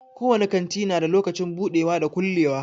Ko wani kanti na da lokacin budewa da na kulewa.